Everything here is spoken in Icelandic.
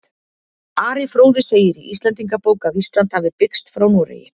Ari fróði segir í Íslendingabók að Ísland hafi byggst frá Noregi.